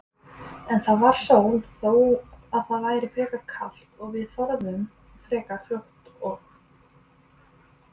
En það var sól þó að væri frekar kalt og við þornuðum frekar fljótt og